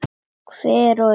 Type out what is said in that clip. Hver og ein.